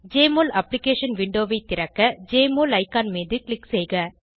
JMOL application விண்டோவை திறக்க Jmol icon மீது க்ளிக் செய்க